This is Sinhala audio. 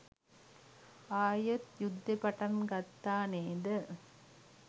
ආයෙත් යුද්ධෙ පටන් ගත්ත නේද